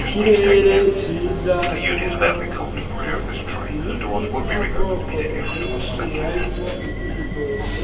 Ikirere ciza kirimwo ibicu ,ibiti vy'ubwoko bwinshi harimwo ivy'igitoke